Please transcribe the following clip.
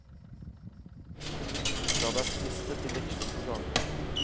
Ikke la deg friste til veksling på gaten.